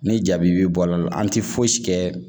Ni jaabi bi bɔ a la an ti fosi kɛ